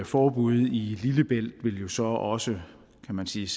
forbud i lillebælt vil jo så selvsagt også kan man sige